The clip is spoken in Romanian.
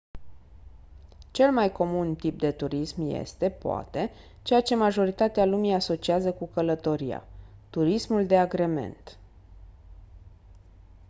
cel mai comun tip de turism este poate ceea ce majoritatea lumii asociază cu călătoria turismul de agrement